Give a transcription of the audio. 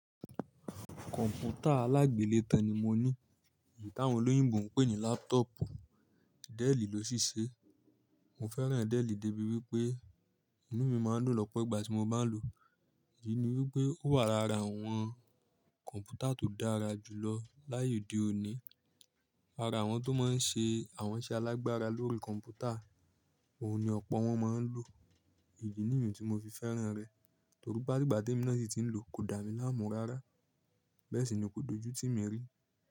Kọ̀m̀pútà alágbèlé tán ni mo ní, tí àwọn olóyìnbo ń pè ní laptop. Dell ló ṣíṣe. Mo fẹ́ràn Dell débi wípé inú mi máa ń dun lọ́pọ̀ ìgbà tí mo bá ń lò ó. Èyí ni wípé ó wà lára àwọn kọ̀m̀pútà tó dára jù lọ láyé òde òní. Ara àwọn tó máa ń ṣe àwọn iṣẹ́ alágbára lórí kọ̀m̀pútà, òun ni ọ̀pọ̀ wọn máa ń lò. Idi niìyì tí mo fi fẹ́ràn rẹ̀. Tori pe ati ìgbà tí emi naa sí ti ń lò kò dá mi láàmú rárá. Bẹ́ẹ̀ sì ni kò dojú tími rí.